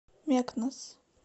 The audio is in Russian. мекнес